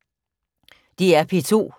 DR P2